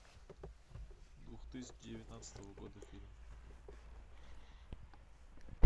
две тысячи девятнадцатого года фильм